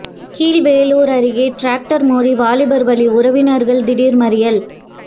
கீழ்வேளூர் அருகே டிராக்டர் மோதி வாலிபர் பலி உறவினர்கள் திடீர் மறியல்